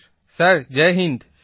Pradeepji sir Jai Hind